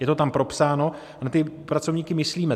Je to tam propsáno a na ty pracovníky myslíme.